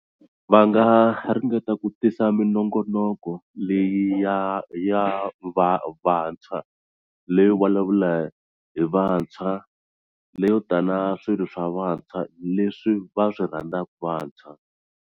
Va nga ringeta ku tisa minongonoko leyi ya ya va vantshwa leyo vulavula hi vantshwa leyo tana swilo swa vantshwa leswi va swi rhandzaka vantshwa.